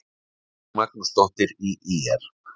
Ingibjörg Magnúsdóttir í ÍR